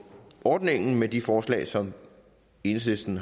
ordningen med de forslag som enhedslisten